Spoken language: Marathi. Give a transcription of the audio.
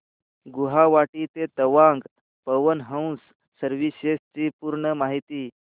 गुवाहाटी ते तवांग पवन हंस सर्विसेस ची पूर्ण माहिती